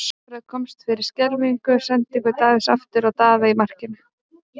Alfreð komst fyrir skelfilega sendingu Davíðs aftur á Daða í markinu.